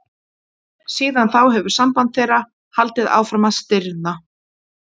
Síðan þá hefur samband þeirra haldið áfram að stirðna.